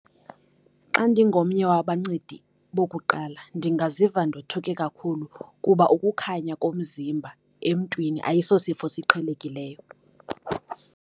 Xa ndingomnye wabancendi bokuqala ndingaziva ndothuke kakhulu, kuba ukukhanya komzimba emntwini ayisosifo siqhelekileyo.